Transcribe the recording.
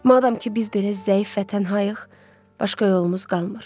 Madam ki, biz belə zəif və tənhayıq, başqa yolumuz qalmır.